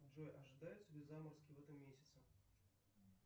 джой ожидаются ли заморозки в этом месяце